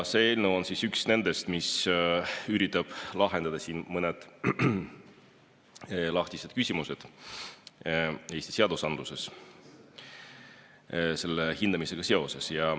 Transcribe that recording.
See eelnõu on üks nendest, mis üritab lahendada mõned lahtised küsimused Eesti seadusandluses selle hindamisega seoses.